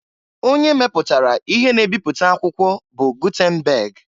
Onye meputara ihe na ebipụta akwụkwọ bụ Gutenberg.